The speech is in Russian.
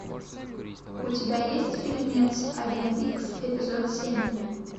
у тебя есть фильмец агент икс эпизод семь